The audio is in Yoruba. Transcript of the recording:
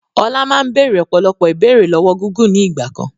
Ọlá máa ń béèrè ọ̀pọ̀lọpọ̀ ìbéèrè lọ́wọ́ Gúgù ni ìgbàkan.